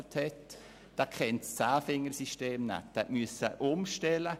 Dieser beherrschte das Zehnfingersystem nicht und musste auf dieses umstellen.